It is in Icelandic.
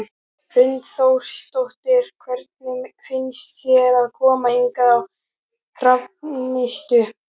Hrund Þórsdóttir: Hvernig finnst þér að koma hingað á Hrafnistu?